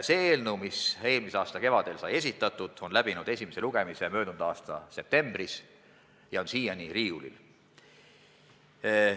See eelnõu, mis sai esitatud eelmise aasta kevadel, läbis esimese lugemise möödunud aasta septembris ja on siiani riiulil.